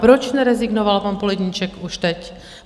Proč nerezignoval pan Poledníček už teď?